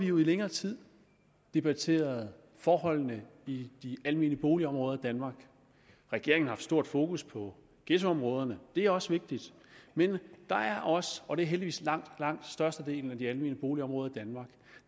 nu i længere tid debatteret forholdene i de almene boligområder i danmark regeringen har stort fokus på ghettoområderne og det er også vigtigt men der er også og det er heldigvis langt størstedelen af de almene boligområder